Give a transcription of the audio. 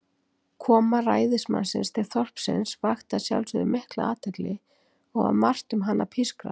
Koma ræðismannsins til þorpsins vakti að sjálfsögðu mikla athygli, og var margt um hana pískrað.